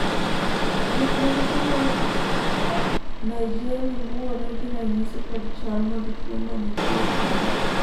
thieth mag tuo mar naegeli luwore gi ranyisi kod chal mag tuo manitie kuom ng'ato